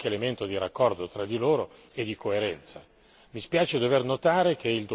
Però bisogna che anche le politiche abbiano qualche elemento di raccordo tra di loro e di coerenza.